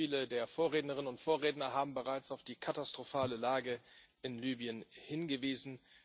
Viele der Vorrednerinnen und Vorredner haben bereits auf die katastrophale Lage in Libyen hingewiesen.